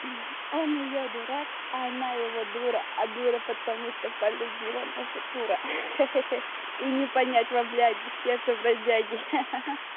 он её дурак а она его дура а дура потому что полюбила наша курица ха-ха и не понять вам бляди ха-ха сердце бродяги ха-ха